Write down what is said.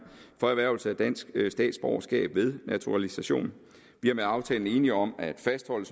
for erhvervelse af dansk statsborgerskab ved naturalisation vi er med aftalen som sagt enige om at fastholde